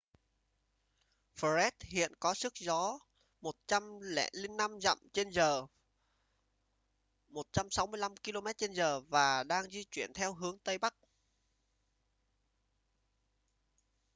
fred hiện có sức gió 105 dặm/giờ 165 km/h và đang di chuyển theo hướng tây bắc